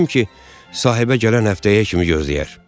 Fikirləşdim ki, sahibə gələn həftəyə kimi gözləyər.